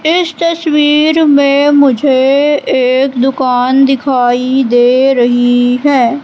इस तस्वीर मे मुझे एक दुकान दिखाई दे रही है।